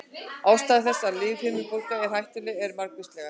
Ástæður þess að lífhimnubólga er hættuleg eru margvíslegar.